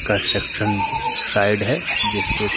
स्ट्रक्शन side है जिस पे --